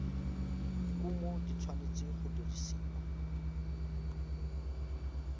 kumo di tshwanetse go dirisiwa